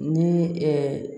Ni